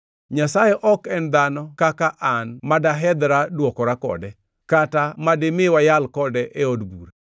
“Nyasaye ok en dhano kaka an ma dahedhra dwokora kode, kata madimi wayal kode e od bura.